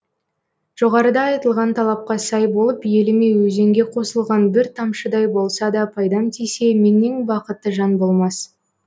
жоғарыда айтылған талапқа сай болып еліме өзенге қосылған бір тамшыдай болса да пайдам тисе меннен бақытты жан болмас